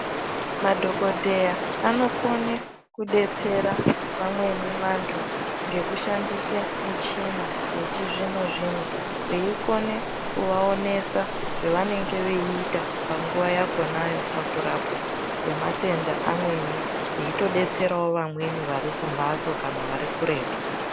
Madhokodheya anokone kudetsera vamweni vantu ngekushandise michina yechizvino zvino veikone kuvaonesa zvevanenge veiita panguwa yakhonayo pakurapwa kwematenda amweni veitodetserawo vamweni vari kumhatso kana vari kuretu.